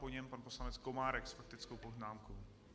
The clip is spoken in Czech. Po něm pan poslanec Komárek s faktickou poznámkou.